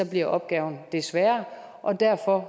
bliver opgaven det sværere og derfor